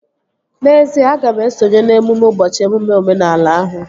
N'ezie, aga m esonye n'emume ụbọchị emume omenala ahụ